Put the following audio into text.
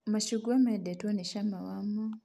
Macungwa mendetwo nĩ cama wamo